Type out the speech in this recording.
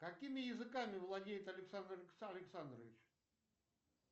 какими языками владеет александр александрович